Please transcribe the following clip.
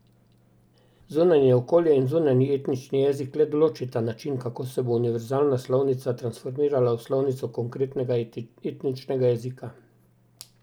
Zunanje okolje in zunanji etnični jezik le določita način, kako se bo univerzalna slovnica transformirala v slovnico konkretnega etničnega jezika.